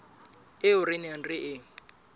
eo re neng re e